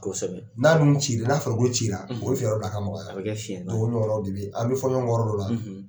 Kosɛbɛ n'a nu cila n'a farikolo cila o bɛ fiɲɛ bila a ka ɲɔgɔn la o bɛ kɛ fiɲɛba ye donc olu yɔrɔ de be an bɛ fɔn ɲɔnkɔn kɔ yɔrɔ dɔw la